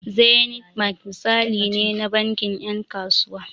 Zenith bank misali ne na bankin ƴan kasuwa.